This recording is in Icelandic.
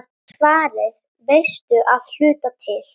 Svarið veistu að hluta til.